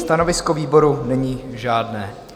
Stanovisko výboru není žádné.